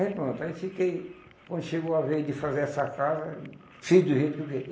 Aí pronto, aí fiquei... Quando chegou a vez de fazer essa casa, fiz do jeito que eu queria.